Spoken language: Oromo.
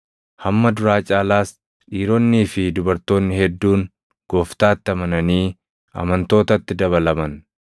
Hamma duraa caalaas dhiironnii fi dubartoonni hedduun Gooftaatti amananii amantootatti dabalaman.